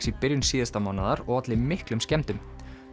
í byrjun síðasta mánaðar og olli miklum skemmdum